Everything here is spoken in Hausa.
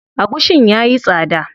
Agushin yayi tsada sosai.